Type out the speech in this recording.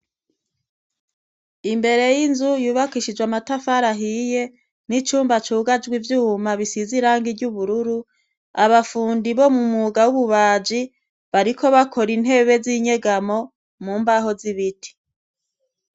Imbere y'inzu yubakishijwe amatafari ahiye, n'icuma cugajwe ivyuma bisizwe irangi ry'ubururu, abafundi bo mu mwuga w'ububaji bariko bakora intebe z'inyegamo mu mbaho z'ibiti.